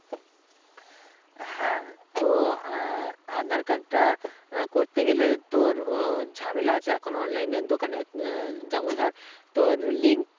হ্যাঁ তো আহ আঁধার card টা আহ করতে গেলে তোর উহ ঝামেলা আছে এখন online র দোকানের উম আহ যেমন ধর তোর link